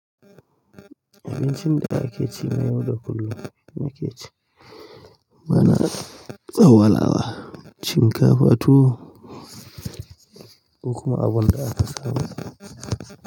Abincin da ake cinye yau da kullum nake ci. Ba na tsawalawa. Shinkafa tuwo sai kuma abinda aka saba yi.